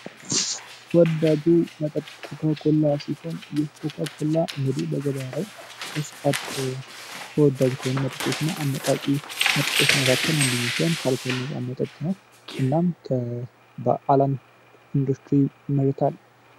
ወዳጁ መጠጥ ኮላ ሲሆን ይህ ኮከብላ እንግዲ በገበያ ላይ መጠጦችና አነቃቂ መካከል አንደኞ ካልኩ ነው እና በአለም ኢንዱስትሪ ይመረታል